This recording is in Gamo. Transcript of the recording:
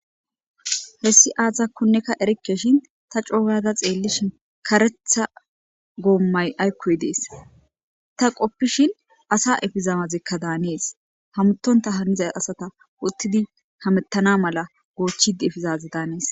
Hessi aazakkonneka erikeshin ta cooyada xeellishin karetha goommay aykkoy dees ta qoppishin asa efizamazekka daanees hamutonta hanizay asata uttidi hamettana mala goochchid efizaze daanees.